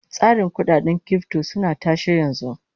Tsarin kudaden kirifto suna tashe yanzu